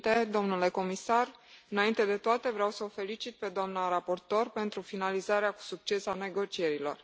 Doamnă președintă, domnule comisar, înainte de toate, vreau să o felicit pe doamna raportoare pentru finalizarea cu succes a negocierilor.